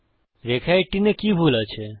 রেখা 18 এ কি ভুল আছে